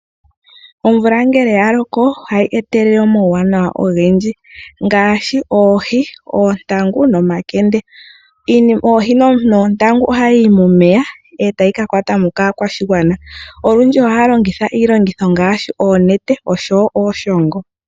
Omvula ngele ya loko ohayi etelele omauwanawa ogendji ngaashi oohi, oontangu nomakende. Oohi noontangu ohadhi yi momeya etadhi ka kwatwa mo kaakwashigwana. Olundji ohaya longitha iilongitho ngaashi oonete oshowo iishongo.